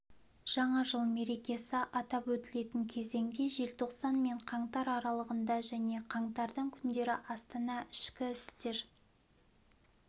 жаңа жыл мерекесі атап өтілетін кезеңде желтоқсан мен қаңтар аралығында және қаңтардың күндері астана ішкі істер